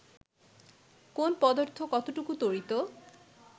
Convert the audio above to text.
কোন পদার্থ কতটুকু তড়িত